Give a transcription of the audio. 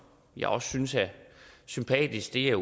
jeg også synes er sympatisk er